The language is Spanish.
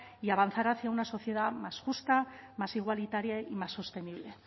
y avanzar hacia una sociedad más justa más igualitaria y más sostenible